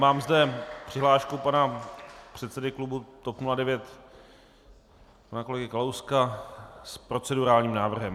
Mám zde přihlášku pana předsedy klubu TOP 09 pana kolegy Kalouska s procedurálním návrhem.